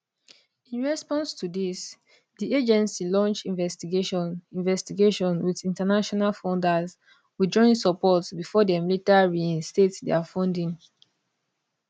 in response to dis di agency launch investigation investigation wit international funders withdrawing support bifor dem later reinstate dia funding